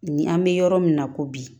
Ni an bɛ yɔrɔ min na ko bi